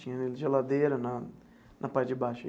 Tinha geladeira na na parte de baixo.